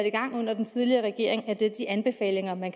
i gang under den tidligere regering er de anbefalinger man